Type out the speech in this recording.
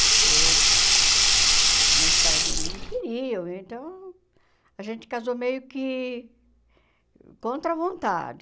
Porque meus pais não queriam, então a gente casou meio que contra a vontade.